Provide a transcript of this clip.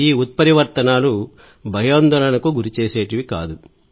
ఈ ఉత్పరివర్తనాలు భయాందోళనకు గురిచేసేవి కాదు